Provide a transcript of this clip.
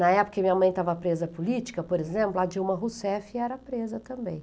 Na época em que minha mãe estava presa política, por exemplo, a Dilma Rousseff era presa também.